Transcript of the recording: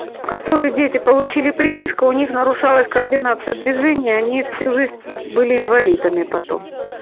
которые дети получили прививку у них нарушилась координация движения они всю жизнь были инвалидами потом